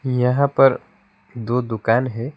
यहां पर दो दुकान है।